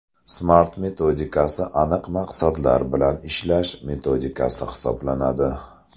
Smart metodikasi aniq maqsadlar bilan ishlash metodikasi hisoblanadi.